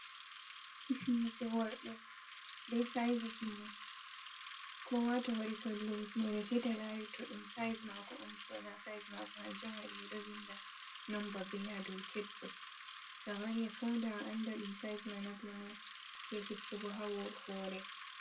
Kifineje worbe be saizis mun kowa to wari sodugo hifnere sai ta lari to ɗum saiz mako on to bo na saiz mako hanjum on waɗi ɓe ɗo vinda numba be ha dow tep ɗo to a wari a founda a anda ɗum saiz ma na ko noi. je hippugo hawo hore.